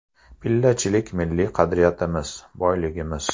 Pillachilik milliy qadriyatimiz, boyligimiz.